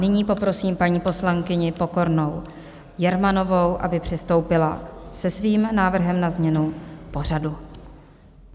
Nyní poprosím paní poslankyni Pokornou Jermanovou, aby přistoupila se svým návrhem na změnu pořadu.